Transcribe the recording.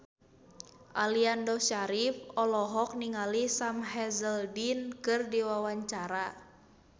Aliando Syarif olohok ningali Sam Hazeldine keur diwawancara